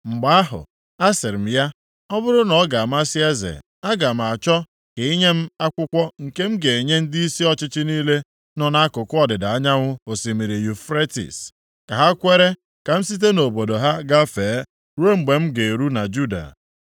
Mgbe ahụ, asịrị m ya, “Ọ bụrụ na ọ ga-amasị eze, aga m achọ ka i nye m akwụkwọ nke m ga-enye ndịisi ọchịchị niile nọ nʼakụkụ ọdịda anyanwụ osimiri Yufretis, ka ha kwere ka m site nʼobodo ha gafee ruo mgbe m ga-eru na Juda.